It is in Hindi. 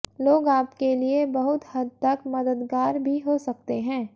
लोग आपके लिए बहुत हद तक मददगार भी हो सकते हैं